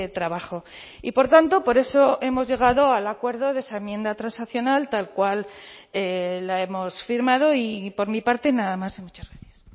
trabajo y por tanto por eso hemos llegado al acuerdo de esa enmienda transaccional tal cual la hemos firmado y por mi parte nada más y muchas gracias